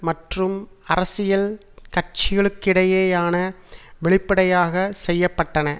மற்றும் அரசியல் கட்சிகளுக்கிடையேயான வெளிப்படையாக செய்ய பட்டன